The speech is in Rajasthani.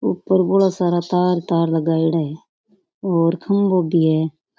ऊपर बोला सारा तार तार लगायडा है और खंभों भी है।